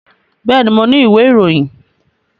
Bẹ́ẹ̀ni, mo ni ìwé ìròyìn